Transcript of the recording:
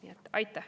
Aitäh!